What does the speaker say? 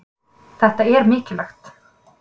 Þetta er mikilvægt